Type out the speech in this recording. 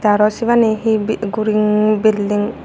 aro sibani he guring building.